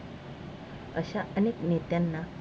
अशा अनेक नेत्यांना